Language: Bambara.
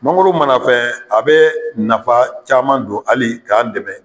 Mangoro mana fɛ a bɛ nafa caman don hali k'an dɛmɛ